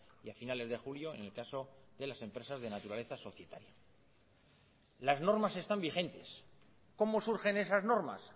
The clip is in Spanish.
y a finales de julio en el caso de las empresas de naturaleza societaria las normas están vigentes cómo surgen esas normas